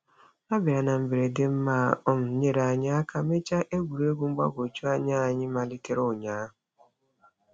Ha bịara na mberede ma um nyere anyị aka mechaa egwuregwu mgbagwojuanya anyị malitere ụnyaahụ.